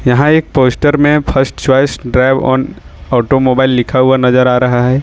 यहां एक पोस्ट में फर्स्ट चॉइस ड्राइवोन ऑटोमोबाइल लिखा हुआ नजर आ रहा है।